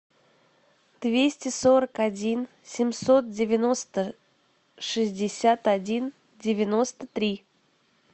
двести сорок один семьсот девяносто шестьдесят один девяносто три